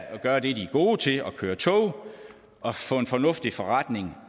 at gøre det de er gode til altså at køre tog og få en fornuftig forretning